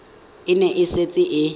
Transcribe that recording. e ne e setse e